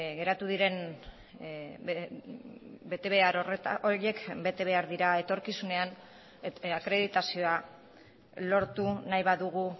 geratu diren betebehar horiek bete behar dira etorkizunean akreditazioa lortu nahi badugu